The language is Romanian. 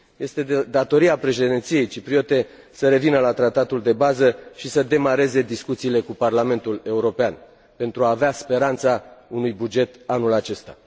Este de datoria președinției cipriote să revină la tratatul de bază și să demareze discuțiile cu Parlamentul European pentru a avea speranța unui buget anul acesta.